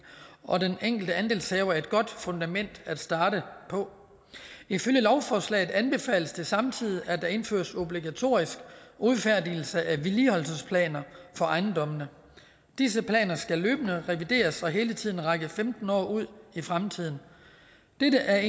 og den enkelte andelshaver et godt fundament at starte på ifølge lovforslaget anbefales det samtidig at der indføres obligatorisk udfærdigelse af vedligeholdelsesplaner for ejendommene disse planer skal løbende revideres og hele tiden række femten år ud i fremtiden dette er